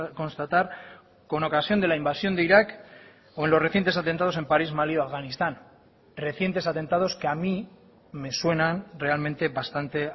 constatar con ocasión de la invasión de irak o en los recientes atentados en parís malí o afganistán recientes atentados que a mí me suenan realmente bastante